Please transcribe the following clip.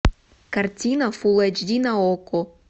картина фулл эйч ди на окко